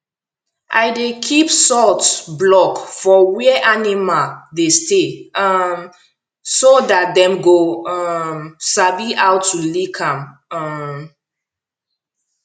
i dey keep salt block for where animal dey stay um so dat dem go um sabi how to lick um